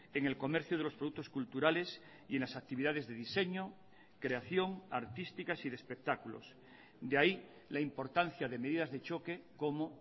en el comercio de los productos culturales y en las actividades de diseño creación artísticas y de espectáculos de ahí la importancia de medidas de choque como